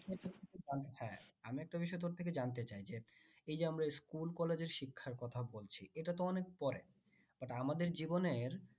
হ্যাঁ আমি একটা বিষয় তোর থেকে জানতে চাই যে এই যে আমরা school, college এর শিক্ষার কথা বলছি এটা তো অনেক পরে but আমাদের জীবনের